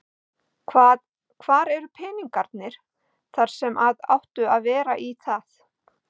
Hvað, hvar eru peningarnir þar sem að áttu að vera í það?